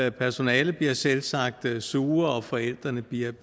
og personalet bliver selvsagt sure og forældrene bliver